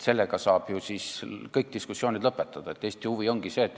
Sellega saab ju kõik diskussioonid lõpetada, kui viitad Eesti huvile.